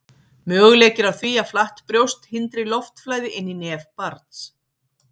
möguleiki er á því að flatt brjóst hindri loftflæði inn í nef barns